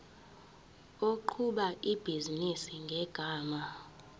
oqhuba ibhizinisi ngegama